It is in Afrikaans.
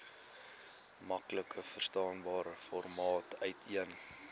maklikverstaanbare formaat uiteen